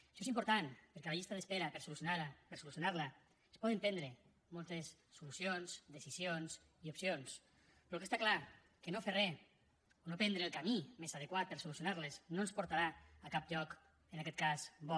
això és important perquè les llistes d’esperes per solucionar les es poden prendre moltes solucions decisions i opcions però el que està clar és que no fer re no prendre el camí més adequat per solucionar les no ens portarà a cap lloc en aquest cas bo